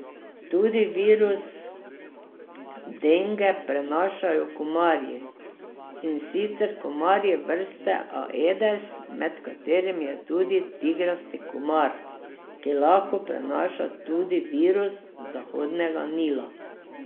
Tudi virus denge prenašajo komarji, in sicer komarji vrste aedes, med katerimi je tudi tigrasti komar, ki lahko prenaša tudi virus Zahodnega Nila.